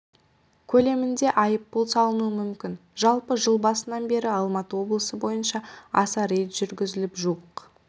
көлемінде айыппұл салынуы мүмкін жалпы жыл басынан бері алматы облысы бойынша аса рейд жүргізіліп жуық